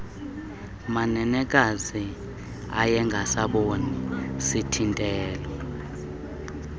manenekazi ayengasaboni sithintelo